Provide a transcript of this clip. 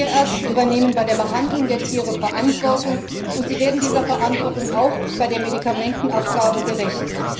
Tierärzte übernehmen bei der Behandlung der Tiere Verantwortung, und sie werden dieser Verantwortung auch bei der Medikamentenabgabe gerecht.